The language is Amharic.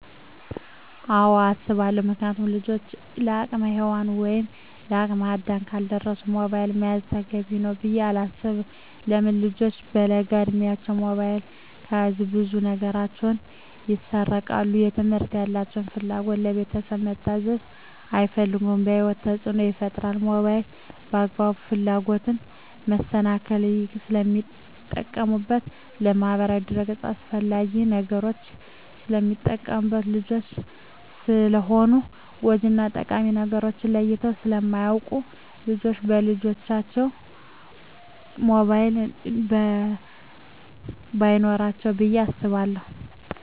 አወ አሰባለው ምክንያቱም ልጆች ለአቅመ ሄዋን ወይም ለአቅመ አዳም ካልደረሱ ሞባይል መያዝ ተገቢ ነው ብዬ አላስብም። ለምን ልጆች በለጋ እድማቸው ሞባይል ከያዙ ብዙ ነገራቸው ይሰረቃል ለትምህርት ያላቸው ፍላጎት, ለቤተሰብ መታዘዝ አይፈልጉም በህይወታቸው ተፅዕኖ ይፈጥራል ሞባይልን ለአላግባብ ፍላጎት መሰናክል ስለሚጠቀሙበት በማህበራዊ ድረ-ገፅ አላስፈላጊ ነገሮች ስለሚጠቀሙበት። ልጆች ስለሆኑ ጎጅ እና ጠቃሚ ነገርን ለይተው ስለማያወቁ ልጆች በልጅነታቸው ሞባይል በይኖራቸው ብዬ አስባለሁ።